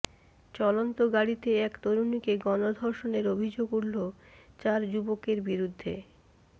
চলন্ত গাড়িতে এক তরুণীকে গণধর্ষণের অভিযোগ উঠল চার যুবকের বিরুদ্ধে